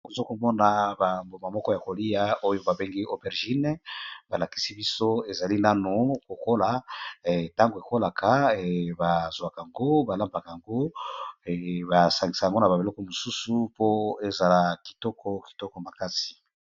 okozo komona bamboma moko ya kolia oyo babengi operjine balakisi biso ezali nano kokola ntango ekolaka bazwaka yango balambaka yango basangisa yango na babeloko mosusu po ezala kitoko kitoko makasi